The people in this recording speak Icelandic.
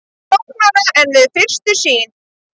Flóknara en við fyrstu sýn